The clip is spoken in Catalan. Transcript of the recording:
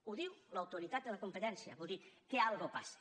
ho diu l’autoritat de la competència vol dir que alguna cosa passa